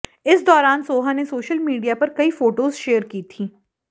इस दौरान सोहा ने सोशल मीडिया पर कई फोटोज शेयर की थीं